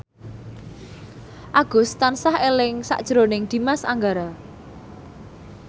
Agus tansah eling sakjroning Dimas Anggara